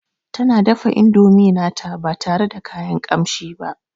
Tana dafa indomi nata ba tare da kayan kamshi ba